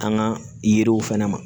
Kanga yiriw fɛnɛ ma